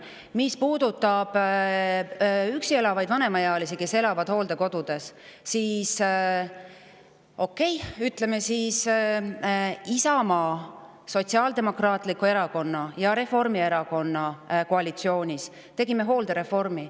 Mis puudutab üksi elavaid vanemaealisi inimesi, kes elavad hooldekodudes, siis okei – ütleme siis, et Isamaa Erakonna, Sotsiaaldemokraatliku Erakonna ja Reformierakonna koalitsioonis tegime hooldereformi.